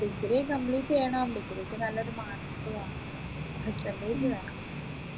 A degree complete ചെയ്യണം degree ക്ക് നല്ലൊരു mark വാങ്ങണം pretend ചെയ്തതാ